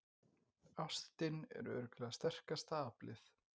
Ástin er örugglega sterkasta aflið.